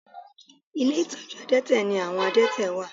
Ilé ìtọ́jú àdẹ́tẹ̀ ni àwọn àdẹ́tẹ̀ wà